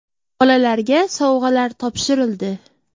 Bolalarga sovg‘alar topshirildi.